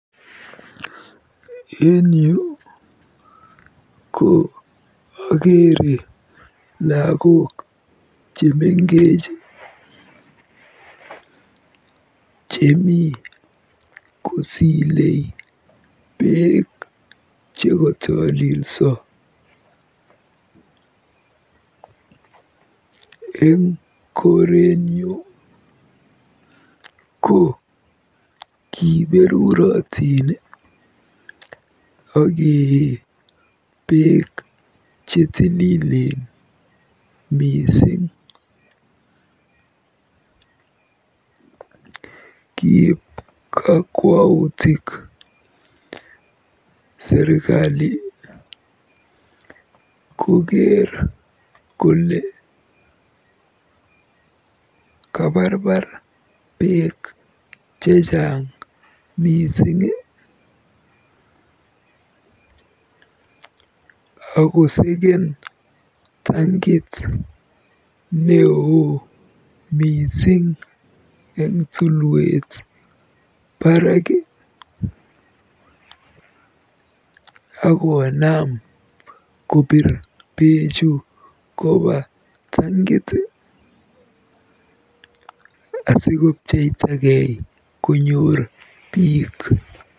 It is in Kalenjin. En yu ko akeere lagok chemengech chemi kosile beek chekotolilso. Eng korenyu ko kiberurotin akee beek chetililen mising. Kiib kakwautik serikali koker kole kabarbar beek chechang mising, akoseken tankit neoo mising eng tulwet barak akoonam kobiir bechu kopa tankit asikopcheitagei konyoor biik.